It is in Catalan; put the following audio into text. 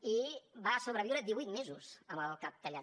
i va sobreviure divuit mesos amb el cap tallat